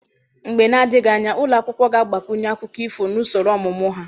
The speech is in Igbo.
Mgbe na-adịghị anya, ụlọ akwụkwọ ga-agbakwunye akụkọ ifo na usoro ọmụmụ ha.